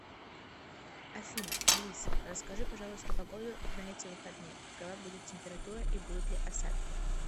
афина алиса расскажи пожалуйста погоду на эти выходные какова будет температура и будут ли осадки